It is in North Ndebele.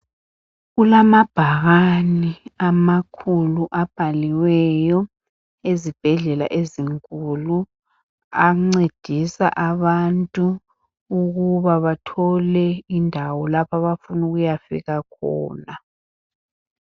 Kulamabhakane amakhulu abhaliweyo ezibhedlela ezinkulu , ancedisa abantu ukuba bathole indawo lapho abafuna ukuyafika khona